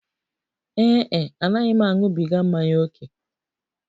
Ee e, anaghị m aṅụbiga mmanya ókè.